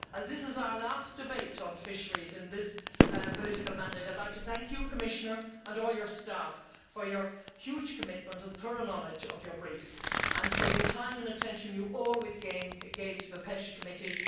As this is our last debate on fisheries in this political mandate, I would like to thank you, Commissioner, and all your staff for your huge commitment and thorough knowledge of your brief and for the time and attention you always gave to the PECH Committee.